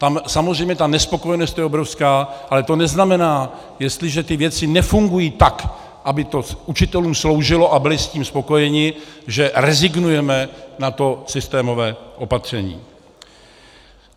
Tam samozřejmě ta nespokojenost je obrovská, ale to neznamená, jestliže ty věci nefungují tak, aby to učitelům sloužilo a byli s tím spokojeni, že rezignujeme na to systémové opatření.